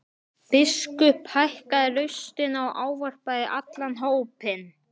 Biskup hækkaði raustina og ávarpaði allan hópinn.